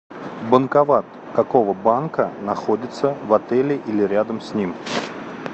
банкомат какого банка находится в отеле или рядом с ним